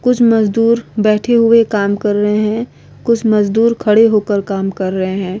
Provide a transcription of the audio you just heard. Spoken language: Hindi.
कुछ मजदुर बैठे हुए काम कर रहे है कुछ मजदुर खड़े हो के काम कर रहे है ।